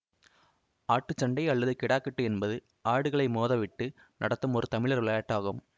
ஆட்டுச் சண்டை அல்லது கிடாகட்டு என்பது ஆடுகளை மோதவிட்டு நடத்தும் ஒரு தமிழர் விளையாட்டாகும்